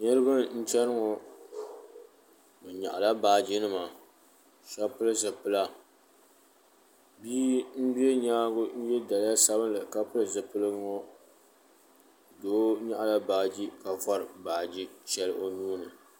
Niriba n cheni ŋɔ bɛ nyaɣala baaji nima sheba pili zipila bia m be nyaanga n ye daliya sabinli ka pili zipiligu ŋɔ doo nyaɣala baaji ka vori baaji sheli o nuuni.